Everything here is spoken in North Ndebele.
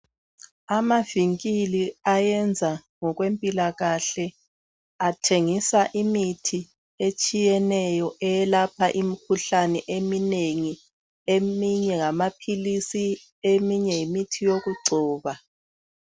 Amavinkili ayenza ngokwempilakahle athengisa imithi etshiyeneyo eyelapha imikhuhlane eminengi. Eminye ngamaphilisi eminye yimithi yokugcoba.